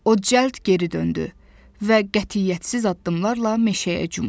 O cəld geri döndü və qətiyyətsiz addımlarla meşəyə cumdu.